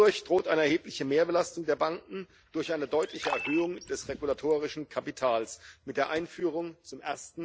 Dadurch droht eine erhebliche Mehrbelastung der Banken durch eine deutliche Erhöhung des regulatorischen Kapitals mit der Einführung zum